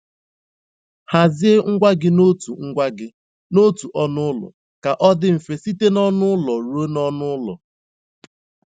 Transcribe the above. Hazie ngwa gị n'otu ngwa gị n'otu ọnụ ụlọ ka ọ dị mfe site n'ọnụ ụlọ ruo n'ọnụ ụlọ.